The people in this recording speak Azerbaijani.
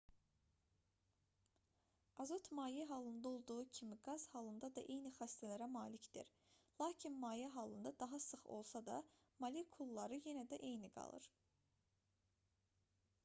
azot maye halında olduğu kimi qaz halında da eyni xassələrə malikdir lakin maye halında daha sıx olsa da molekulları yenə də eyni qalır